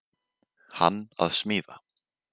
Hann að smíða.